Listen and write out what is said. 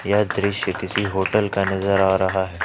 यह दृश्य किसी होटल का नजर आ रहा है।